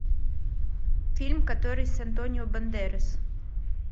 фильм который с антонио бандерас